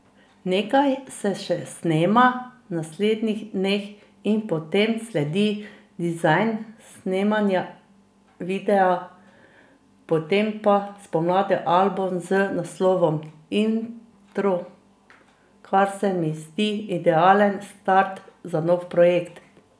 Nekaj se še snema v naslednjih dneh in potem sledi dizajn, snemanje videa, potem pa spomladi album z naslovom Intro, kar se mi zdi idealen start za nov projekt.